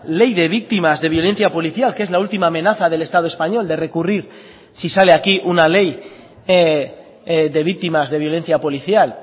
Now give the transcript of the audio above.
ley de víctimas de violencia policial que es la última amenaza del estado español de recurrir si sale aquí una ley de víctimas de violencia policial